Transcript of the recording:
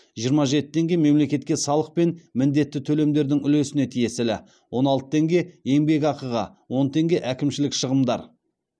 жиырма жеті теңге мемлекетке салық пен міндетті төлемдердің үлесіне тиесілі он алты теңге еңбекақыға он теңге әкімшілік шығындар